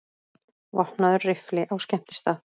Vopnaður riffli á skemmtistað